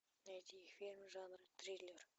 найти фильм жанр триллер